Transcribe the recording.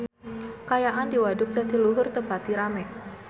Kaayaan di Waduk Jatiluhur teu pati rame